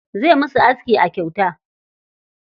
Zai musu aski a kyauta.